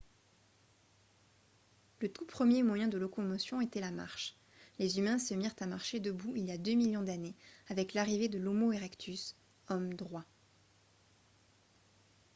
le tout premier moyen de locomotion était la marche : les humains se mirent à marcher debout il y a deux millions d'années avec l'arrivée de l'homo erectus « homme droit »